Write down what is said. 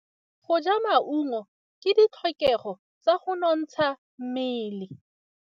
Go ja maungo ke ditlhokegô tsa go nontsha mmele.